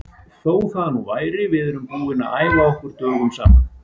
Þó það nú væri, við erum búnir að æfa okkur dögum saman.